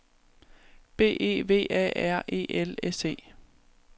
B E V A R E L S E